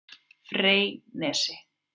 Freysnesi